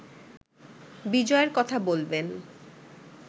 বিজয়ের কথা বলবেন